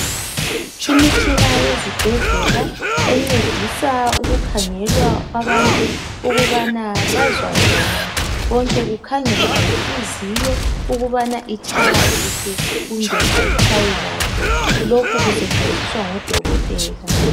Imitshina yezibhedleka encedisa ukukhangelwa kwabantu ukubana bazwa njani. konke Kukhangelwe yenhliziyo ukubana itshaya kuhle kumbe ayitshayi kuhle. Lokhu kusetshenziswa ngodokotela.